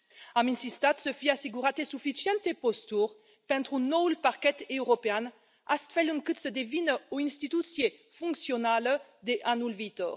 Am insistat să fie asigurate suficiente posturi pentru noul parchet european astfel încât să devină o instituție funcțională de anul viitor.